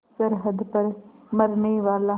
सरहद पर मरनेवाला